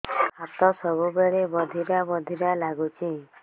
ହାତ ସବୁବେଳେ ବଧିରା ବଧିରା ଲାଗୁଚି